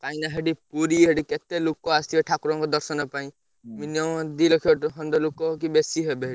କାଇଁକି ନା ସେଇଠି ପୁରୀ ସେଠି କେତେ ଲୋକ ଆସିଥିବେ ଠାକୁରଙ୍କ ଦର୍ଶନ ପାଇଁ minimum ଦି ଲକ୍ଷ ଖଣ୍ଡେ କି ବେଶୀ ହେବେ ସେଠି।